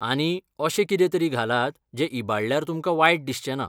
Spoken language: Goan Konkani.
आनी, अशें कितेंतरी घालात जें इबाडल्यार तुमकां वायट दिसचेंना.